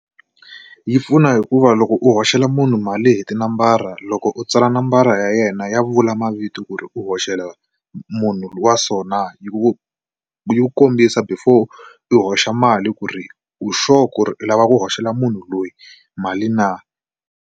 Yi pfuna hikuva loko u hoxela munhu mali hi tinambara loko u tsala nambara ya yena ya vula mavito ku ri u hoxela munhu wa so na yi ku yi ku kombisa before u hoxa mali ku ri u sure ku ri u lava ku hoxela munhu loyi mali na.